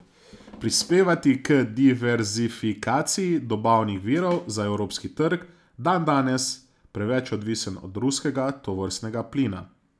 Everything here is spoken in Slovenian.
Prispevati k diverzifikaciji dobavnih virov za evropski trg, dandanes preveč odvisen od ruskega tovrstnega plina.